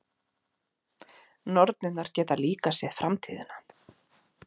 Nornirnar geta líka séð framtíðina.